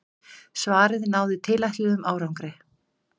Svarið náði tilætluðum árangri.